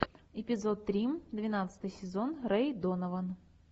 эпизод три двенадцатый сезон рэй донован